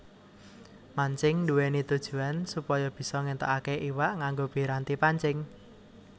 Mancing nduwèni tujuwan supaya bisa ngéntukaké iwak nganggo piranti pancing